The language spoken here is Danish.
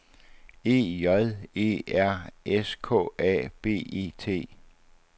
E J E R S K A B E T